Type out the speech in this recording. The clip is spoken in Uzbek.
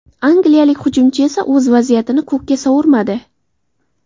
Angliyalik hujumchi esa o‘z vaziyatini ko‘kka sovurmadi.